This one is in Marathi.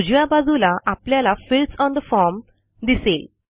उजव्या बाजूला आपल्याला फील्ड्स ओन ठे फॉर्म दिसेल